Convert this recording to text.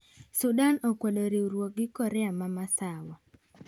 Sudan okwedo riuruok gi Korea ma Masawa